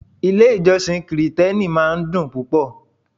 Ilé-ìjọsìn Kirìtẹ́nì máa ń dùn púpò.